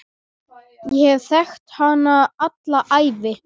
Ég hef þekkt hana alla ævi.